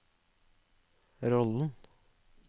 rollen